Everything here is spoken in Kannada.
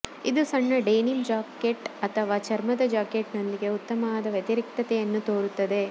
ಇದು ಸಣ್ಣ ಡೆನಿಮ್ ಜಾಕೆಟ್ ಅಥವಾ ಚರ್ಮದ ಜಾಕೆಟ್ನೊಂದಿಗೆ ಉತ್ತಮವಾದ ವ್ಯತಿರಿಕ್ತತೆಯನ್ನು ತೋರುತ್ತದೆ